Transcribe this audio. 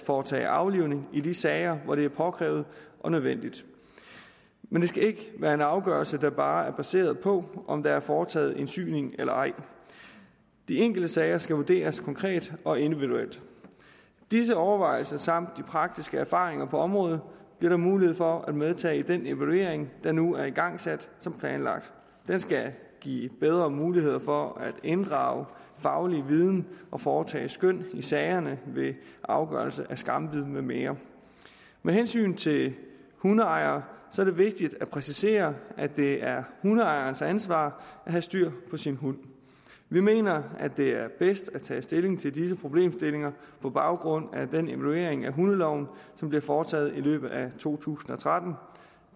foretage aflivning i de sager hvor det er påkrævet og nødvendigt men det skal ikke være en afgørelse der bare er baseret på om der er foretaget en syning eller ej de enkelte sager skal vurderes konkret og individuelt disse overvejelser samt de praktiske erfaringer på området bliver der mulighed for at medtage i den evaluering der nu er igangsat som planlagt den skal give bedre muligheder for at inddrage faglig viden og foretage skøn i sagerne ved afgørelse af skambid med mere med hensyn til hundeejere er det vigtigt at præcisere at det er hundeejerens ansvar at have styr på sin hund vi mener at det er bedst at tage stilling til disse problemstillinger på baggrund af den evaluering af hundeloven som bliver foretaget i løbet af to tusind og tretten